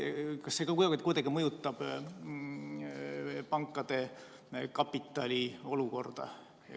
Kas see mõjutab kuidagi pankade kapitaliolukorda?